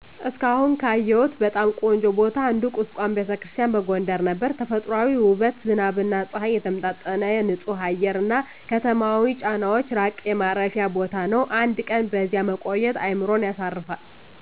እስካሁን ካየሁት በጣም ቆንጆ ቦታ አንዱ ቁስቋም ⛪ቤተክርስቲያን በጎንደር ነበር። ተፈጥሯዊ ውበት፣ ዝናብና ፀሐይ የተመጣጠነ ንፁህ አየር፣ እና ከተማዊ ጫናዎች ራቀ የማረፊያ ቦታ ነው። አንድ ቀን በዚያ መቆየት አእምሮን ያሳርፋል።